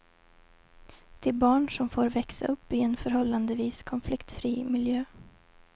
De barn som får växa upp i en förhållandevis konfliktfri miljö.